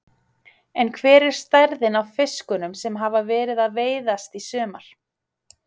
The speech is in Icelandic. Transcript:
En hver er stærðin á fiskunum sem hafa verið að veiðast í sumar?